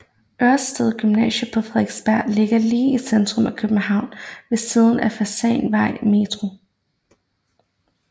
Ørsted Gymnasiet på Frederiksberg ligger lige i centrum af København ved siden af Fasanvej metro